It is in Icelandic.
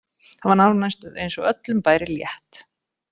Það var nánast eins og öllum væri létt.